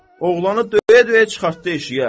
Oğlanı döyə-döyə çıxartdı eşiyə.